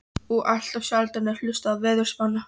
Og allt of sjaldan er hlustað á veðurspána.